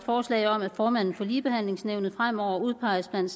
forslag om at formanden for ligebehandlingsnævnet fremover udpeges blandt